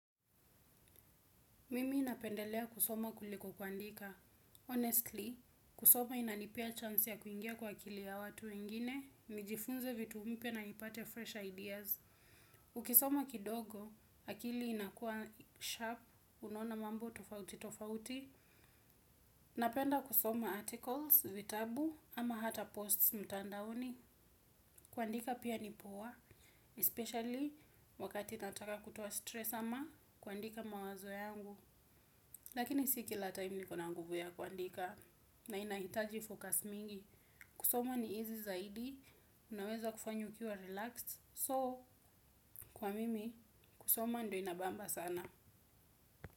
Mimi napendelea kusoma kuliko kuandika. Honestly, kusoma inanipea chance ya kuingia kwa akili ya watu wengine, nijifunze vitu mpya na nipate fresh ideas. Ukisoma kidogo, akili inakua sharp, unaona mambo tofauti tofauti. Napenda kusoma articles, vitabu, ama hata posts mtandaoni. Kuandika pia ni poa, especially wakati nataka kutoa stress ama kuandika mawazo yangu. Lakini si kila time niko na nguvu ya kuandika na inahitaji focus mingi. Kusoma ni easy zaidi, unaweza kufanya ukiwa relaxed. So, kwa mimi, kusoma ndio inabamba sana.